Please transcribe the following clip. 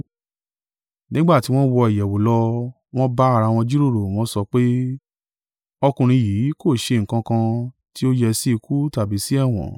Nígbà tí wọn wọ ìyẹ̀wù lọ, wọn bá ara wọn jíròrò, wọ́n sọ pé, “Ọkùnrin yìí kò ṣe nǹkan kan tí ó yẹ sí ikú tàbí sì ẹ̀wọ̀n.”